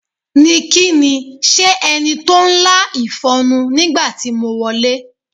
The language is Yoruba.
Ni kí ni? S̩e e̩ni to ń lá ìfo̩nu nígbà tí mo wo̩lé